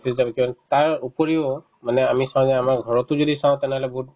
office তাৰ উপৰিও মানে আমি ছাগে আমাৰ ঘৰতো যদি চাও তেনেহ'লে বহুত